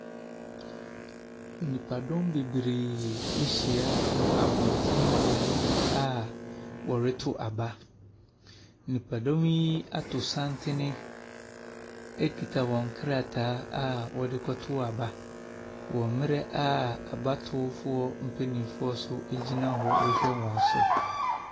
Nipadɔm bebree ɛhyia wɔ abɔnten beaeɛ bi a ɔretɔ aba. Nipadɔm yi ato santene ekita wɔn krataa a wɔde kɔ to aba wɔ mmrɛ a abatoɔfoɔ mpanyinfoɔ nso egyina hɔ rehwɛ wɔn so.